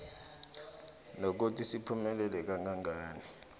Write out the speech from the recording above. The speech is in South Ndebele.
nokuthi siphumelela kangangani